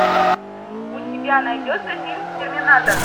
у тебя найдется фильм терминатор